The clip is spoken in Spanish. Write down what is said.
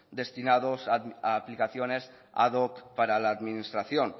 destinados a aplicaciones ad hoc para la administración